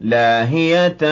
لَاهِيَةً